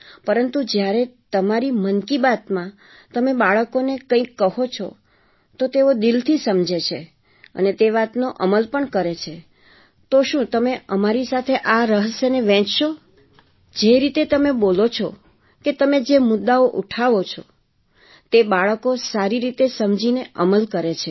પરંતુ જ્યારે તમારી મન કી બાતમાં તમે બાળકોને કંઈક કહો છો તો તેઓ દિલથી સમજે છે અને તે વાતનો અમલ કરે પણ છે તો શું તમે અમારી સાથે આ રહસ્યને વહેંચશો જે રીતે તમે બોલો છો કે તમે જે મુદ્દાઓ ઉઠાવો છો જે બાળકો સારી રીતે સમજીને અમલ કરે છે